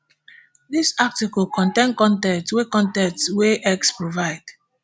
dis article contain con ten t wey con ten t wey x provide